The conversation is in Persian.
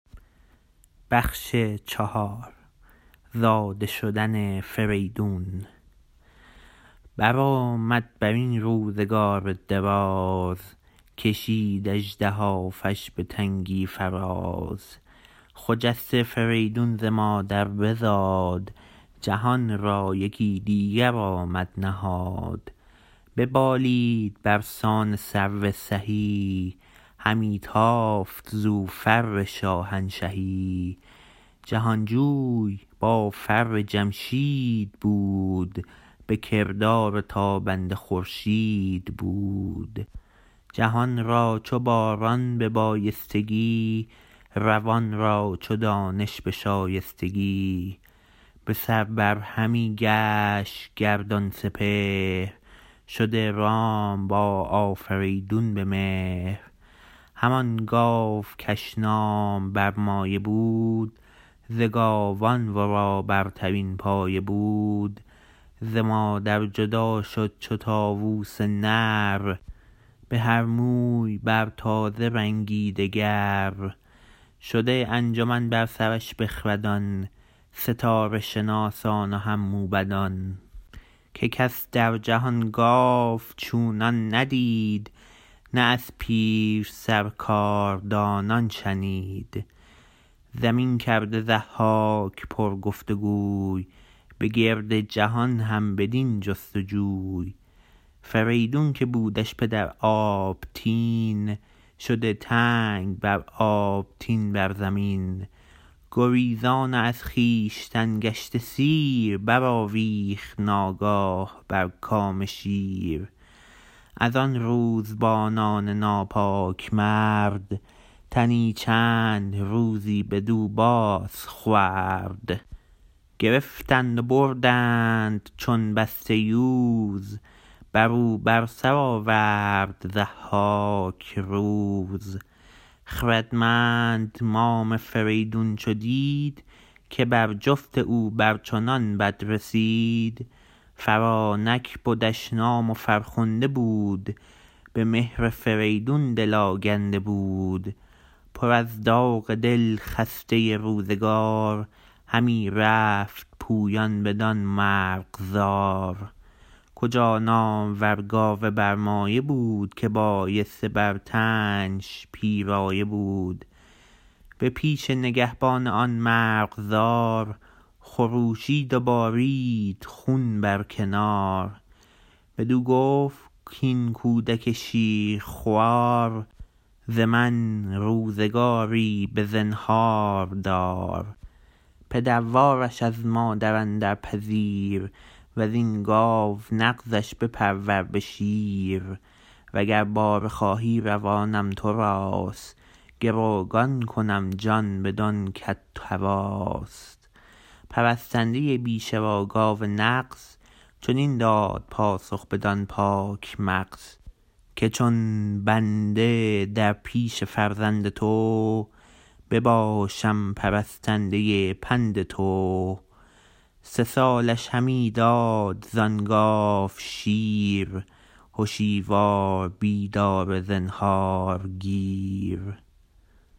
برآمد برین روزگار دراز کشید اژدهافش به تنگی فراز خجسته فریدون ز مادر بزاد جهان را یکی دیگر آمد نهاد ببالید برسان سرو سهی همی تافت زو فر شاهنشهی جهانجوی با فر جمشید بود به کردار تابنده خورشید بود جهان را چو باران به بایستگی روان را چو دانش به شایستگی بسر بر همی گشت گردان سپهر شده رام با آفریدون به مهر همان گاو کش نام برمایه بود ز گاوان ورا برترین پایه بود ز مادر جدا شد چو طاووس نر بهر موی بر تازه رنگی دگر شده انجمن بر سرش بخردان ستاره شناسان و هم موبدان که کس در جهان گاو چونان ندید نه از پیرسر کاردانان شنید زمین کرده ضحاک پر گفت و گوی به گرد جهان هم بدین جست و جوی فریدون که بودش پدر آبتین شده تنگ بر آبتین بر زمین گریزان و از خویشتن گشته سیر برآویخت ناگاه بر کام شیر از آن روزبانان ناپاک مرد تنی چند روزی بدو باز خورد گرفتند و بردند بسته چو یوز برو بر سر آورد ضحاک روز خردمند مام فریدون چو دید که بر جفت او بر چنان بد رسید فرانک بدش نام و فرخنده بود به مهر فریدون دل آگنده بود پر از داغ دل خسته روزگار همی رفت پویان بدان مرغزار کجا نامور گاو برمایه بود که بایسته بر تنش پیرایه بود به پیش نگهبان آن مرغزار خروشید و بارید خون بر کنار بدو گفت کاین کودک شیرخوار ز من روزگاری بزنهار دار پدروارش از مادر اندر پذیر وزین گاو نغزش بپرور به شیر و گر باره خواهی روانم تراست گروگان کنم جان بدان کت هواست پرستنده بیشه و گاو نغز چنین داد پاسخ بدان پاک مغز که چون بنده در پیش فرزند تو بباشم پرستنده پند تو سه سالش همی داد زان گاو شیر هشیوار بیدار زنهارگیر